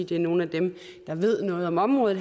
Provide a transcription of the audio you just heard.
det er nogle af dem der ved noget om området